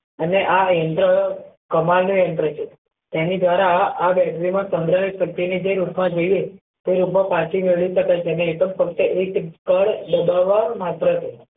અને આ યંત્ર કમાલ નું યંત્ર છે એની દ્વારા આ battery ઓ ની